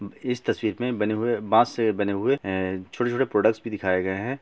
इस तस्वीर में बने हुए बांस से बने हुए छोटे-छोटे प्रोडक्टस भी दिखाई गए हैं।